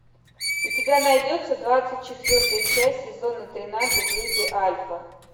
у тебя найдется двадцать четвертая часть сезона тринадцать люди альфа